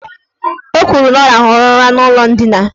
O kwuru na ọ rahụrụ ụra n' ụlọ ndina.